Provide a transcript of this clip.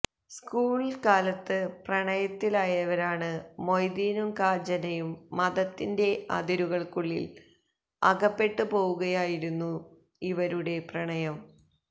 school കാലത്ത് പ്രണയത്തിലായവരാണ് മൊയ്തീനും കാഞ്ചനയും മതത്തിന്റെ അതിരുകള്ക്കുള്ളില് അകപ്പെട്ടുപോവുകയായിരുന്നു ഇവരുടെ പ്രണയം